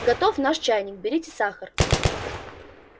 готов наш чайник берите сахар